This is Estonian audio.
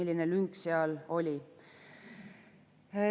See lünk seal oli.